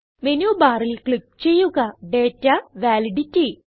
മെനുബാറിൽ click ചെയ്യുക data validity